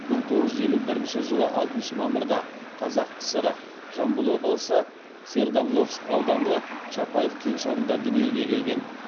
мың тоғыз жүз елу бірінші жылы алтыншы мамырда қазақ кср жамбыл облысы свердловск ауданы чапаев кеңшарында дүниеге келген